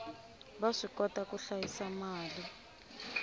va swikota ku hlayisa mali